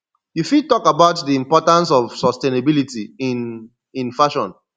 you fit talk about di importance of sustainability in in fashion